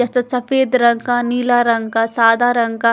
सफेद रंग का नीला रंग का साधा रंग का--